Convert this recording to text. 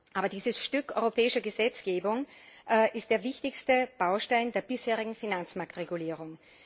Aber dieses Stück europäischer Gesetzgebung ist der wichtigste Baustein der bisherigen Finanzmarktregulierung.